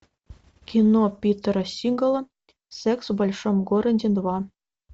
кино питера сигала секс в большом городе два